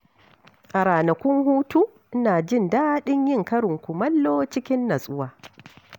A ranakun hutu, ina jin daɗin yin karin kumallo cikin natsuwa.